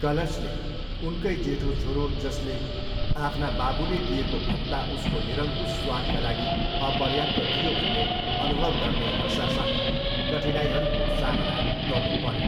कलशले उनकै जेठो छोरो जसले आफ्ना बाबुले दिएको भत्ता उसको निरंकुश स्वादका लागि अपर्याप्त थियो भन्ने अनुभव गर्ने हरसासँग कठिनाइहरूको सामना गर्नुपऱ्यो।